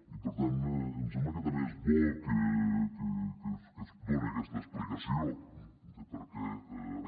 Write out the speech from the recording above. i per tant em sembla que també es bo que es done aquesta explicació de per què